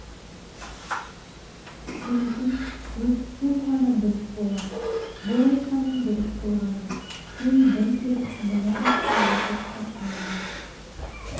мүмкін өсітсем ғана дұрыс болар бұл айтқаның дұрыс толғанай сен бір келіп мына тасқа отыршы аяғың